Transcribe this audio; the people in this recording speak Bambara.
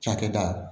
Cakɛda